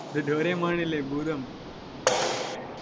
இது டோரேமான் இல்லை பூதம்